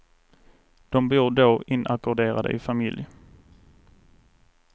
De bor då inackorderade i familj.